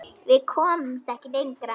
Við komumst ekki lengra.